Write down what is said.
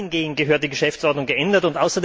Dahingehend gehört die Geschäftsordnung geändert!